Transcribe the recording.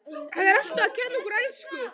Hann er alltaf að kenna okkur ensku!